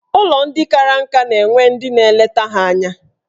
Ụlọ ndị kara nka na-enwe ndị na-eleta ha anya.